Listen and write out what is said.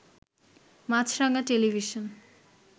Maasranga television